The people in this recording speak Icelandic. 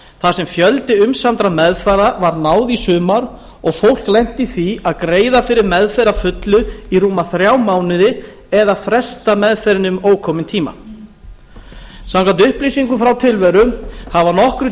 þar sem fjölda umsamdra meðferða var náð í sumar og fólk lenti í því að greiða fyrir meðferð að fullu í rúma þrjá mánuði eða fresta meðferðinni um ókominn tíma samkvæmt upplýsingum frá tilveru hafa nokkrir